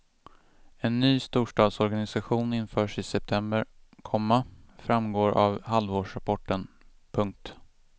En ny storstadsorganisation införs i september, komma framgår av halvårsrapporten. punkt